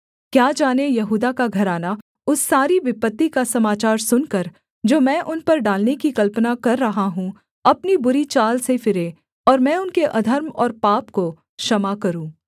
क्या जाने यहूदा का घराना उस सारी विपत्ति का समाचार सुनकर जो मैं उन पर डालने की कल्पना कर रहा हूँ अपनी बुरी चाल से फिरे और मैं उनके अधर्म और पाप को क्षमा करूँ